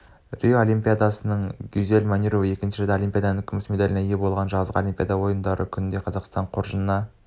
рио олимпиадасының күнінде гюзель манюрова екінші рет олимпиаданыңкүміс медалінеие болды жазғы олимпиада ойындарының күнінде қазақстан қоржынына